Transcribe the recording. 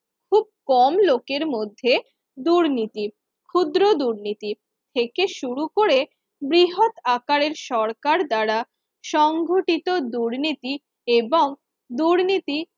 কম লোকের মধ্যে দুর্নীতির ক্ষুদ্র দুর্নীতির থেকে শুরু করে বৃহৎ আকারের সরকার দ্বারা সংঘটিত দুর্নীতি এবং দুর্নীতি